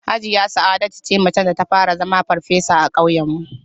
Hajiya Sa'adatu ce macen da ta fara zama farfesa a ƙauyen mu